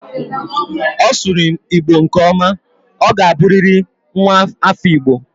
Ọ sụrụ Igbo nke ọma. Ọ ga buriri nwa afọ Igbo